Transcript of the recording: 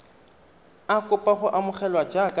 a kopa go amogelwa jaaka